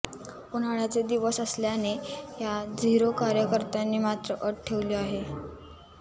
उन्हाळ्याचे दिवस असल्याने या झिरो कार्यकर्त्यांनी मात्र अट ठेवली आहे